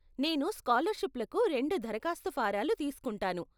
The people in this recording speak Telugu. నేను స్కాలర్షిప్లకు రెండు దరఖాస్తు ఫారాలు తీస్కుంటాను.